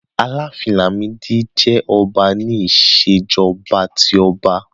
Àlàáfín Làmídì jẹ́ ọba ní Ìṣèjọ́ba tí ọba